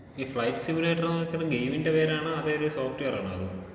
ഈ flight simulator എന്ന് വെച്ചാ ഇപ്പൊ ഗെയിമിന്റെ പേരാണോ അതോ സോഫ്റ്റ് വെയറാണോ അത്?